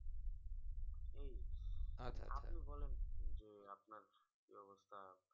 আপনি বলেন যে আপনার কি অবস্থা এখন